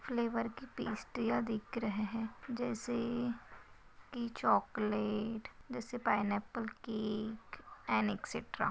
Flavour की पेस्ट्रीया दिख रहे है जैसे की चोकोलेट जैसे पायनापल केक अन एक्सेट्रा ।